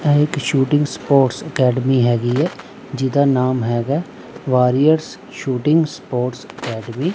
ਇਹ ਇੱਕ shooting sports academy ਹੈਗੀ ਏ ਜਿਹਦਾ ਨਾਮ ਹੈਗਾ ਵਾਰੀਅਰਸ ਸ਼ੂਟਿੰਗ ਸਪੋਰਟਸ ਅਕੈਡਮੀ ।